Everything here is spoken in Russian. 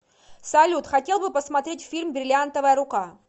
салют хотел бы посмотреть фильм бриллиантовая рука